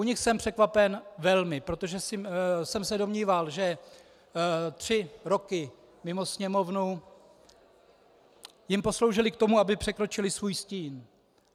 U nich jsem překvapen velmi, protože jsem se domníval, že tři roky mimo Sněmovnu jim posloužily k tomu, aby překročili svůj stín.